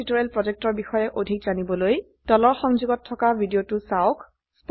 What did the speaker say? spoken tutorial projectৰ বিষয়ে অধিক জানিবলৈ তলৰ সংযোগত থকা ভিডিঅ চাওক